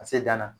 Ka se danna